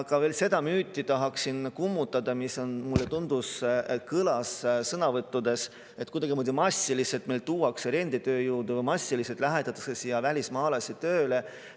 Ja veel tahaksin kummutada seda müüti, mis, mulle tundus, kõlas sõnavõttudes, et kuidagimoodi massiliselt tuuakse meile renditööjõudu, massiliselt lähetatakse siia välismaalasi tööle.